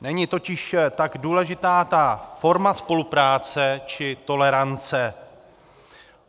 Není totiž tak důležitá ta forma spolupráce či tolerance.